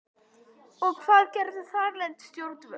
Og hvað gerðu þarlend stjórnvöld?